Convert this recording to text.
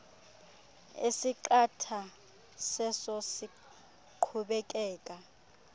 esiqatha seso siqhubekeka